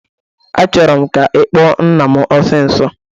Achọrọ m ka ị kpụọ nna m osisọ!